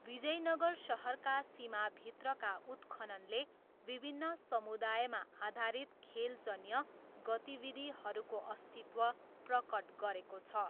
विजयनगर सहरका सीमाभित्रका उत्खननले विभिन्न समुदायमा आधारित खेलजन्य गतिविधिहरूको अस्तित्व प्रकट गरेको छ।